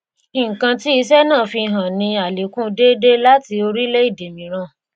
nkan tí isẹ náà fi hàn ní àlékún déédéé láti orílẹ èdè mìíràn